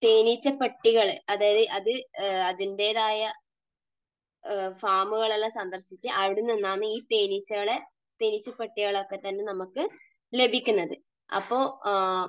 തേനീച്ചപ്പെട്ടികൾ, അതായത് അത് അതിന്റേതായ ഫാമുകളെല്ലാം സന്ദർശിച്ച് അവിടെനിന്ന് ആണ് ഈ തേനീച്ചകളെ, തേനീച്ചപ്പെട്ടികളെയൊക്കെത്തന്നെ നമുക്ക് ലഭിക്കുന്നത്.